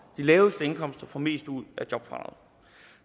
de laveste indkomster får mest ud af jobfradraget